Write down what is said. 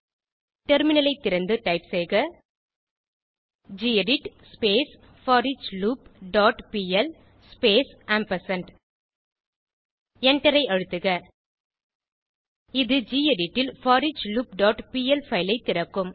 டெர்மினலை திறந்து டைப் செய்க gedit for each loop dot PL space ampersand எண்டரை அழுத்துக இது கெடிட் ல் foreachloopபிஎல் பைல் ஐ திறக்கும்